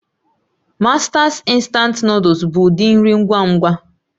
Masters Instant Nụ́dúls bụ ụdị nri ngwa ngwa